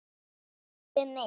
Kjósið mig!